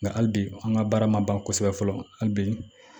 Nka hali bi an ka baara ma ban kosɛbɛ fɔlɔ hali bi